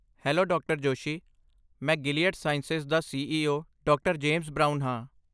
Hello ਡਾ. ਜੋਸ਼ੀ। ਮੈਂ Gilead Sciences ਦਾ ਸੀ.ਈ.ਓ. ਡਾ. ਜੇਮਸ ਬ੍ਰਾਊਨ ਹਾਂ।